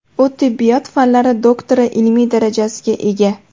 U tibbiyot fanlari doktori ilmiy darajasiga ega.